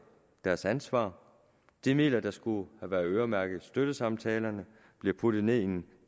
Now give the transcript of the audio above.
deres ansvar de midler der skulle have været øremærket støttesamtalerne bliver puttet ned i en